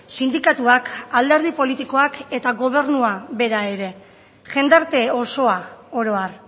sindikatuak alderdi politikoak eta gobernua bera ere jendarte osoa oro har